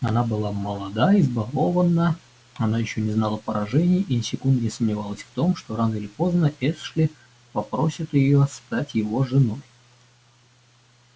она была молода избалованна она ещё не знала поражений и ни секунды не сомневалась в том что рано или поздно эшли попросит её стать его женой